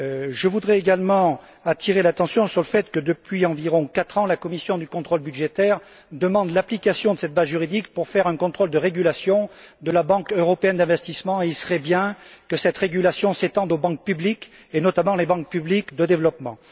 Je voudrais également attirer l'attention sur le fait que, depuis environ quatre ans, la commission du contrôle budgétaire demande qu'en vertu de cette base juridique, il soit procédé à un contrôle de régulation de la Banque européenne d'investissement, et il serait utile que cette régulation s'étende aux banques publiques, et notamment aux banques publiques de développement.